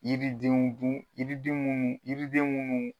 Yiridenw dun yiriden munnu yiriden munnu.